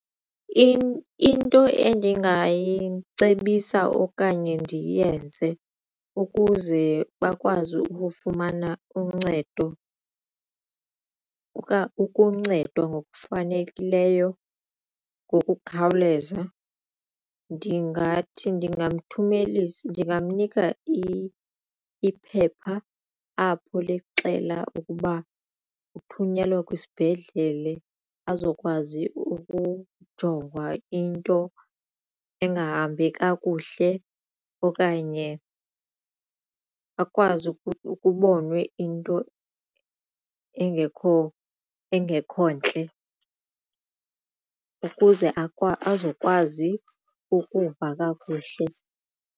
Into endingayicebisa okanye ndiyenze ukuze bakwazi ukufumana uncedo ukuncedwa ngokufanelekileyo ngokukhawuleza ndingathi ndingamnika iphepha apho lixela ukuba uthunyelwe kwisibhedlele azokwazi ukujongwa into engahambi kakuhle okanye akwazi kubonwe into engekho, engekho ntle ukuze azokwazi ukuva kakuhle.